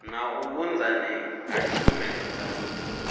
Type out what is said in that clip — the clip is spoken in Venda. na vhunzani ha tshumelo dza